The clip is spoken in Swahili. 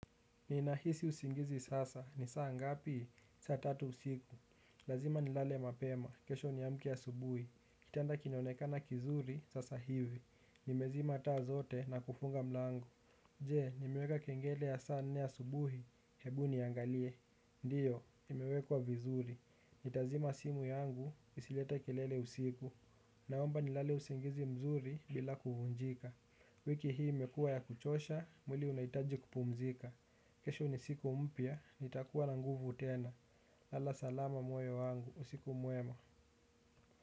Ninahisi usingizi sasa. Ni saa ngapi? Saa tatu usiku. Lazima nilale mapema. Kesho niamke asubuhi. Kitanda kinaonekana kizuri, sasa hivi. Nimezima taa zote na kufunga mlango. Je, nimeweka kengele ya saa nne asubuhi. Hebu niangalie. Ndiyo, imewekwa vizuri. Nitazima simu yangu, isilete kelele usiku. Naomba nilale usingizi mzuri bila kuvunjika. Wiki hii imekuwa ya kuchosha, mwili unahitaji kupumzika. Kesho ni siku mpya, nitakuwa na nguvu tena, lala salama moyo wangu, usiku mwema.